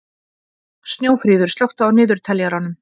Snjófríður, slökktu á niðurteljaranum.